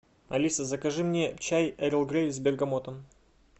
алиса закажи мне чай эрл грей с бергамотом